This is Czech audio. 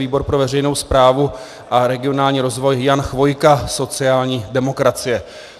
Výbor pro veřejnou správu a regionální rozvoj Jan Chvojka, sociální demokracie.